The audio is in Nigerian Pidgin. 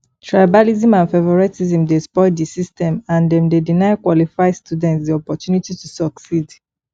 tribalism and favoritism dey spoil di system and dem dey deny qualified students di opportunity to succeed